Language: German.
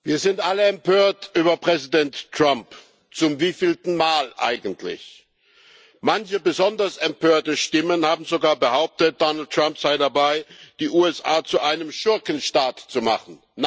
Herr Präsident! Wir sind alle empört über Präsident Trump. Zum wievielten Mal eigentlich? Manche besonders empörte Stimmen haben sogar behauptet, Donald Trump sei dabei, die USA zu einem Schurkenstaat zu machen.